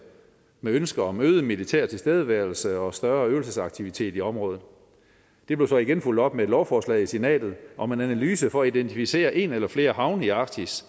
med ønske om øget militær tilstedeværelse og større øvelsesaktivitet i området det blev så igen fulgt op med et lovforslag i senatet om en analyse for at identificere en eller flere havne i arktis